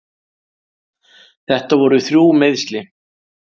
Þetta voru þrjú meiðsli.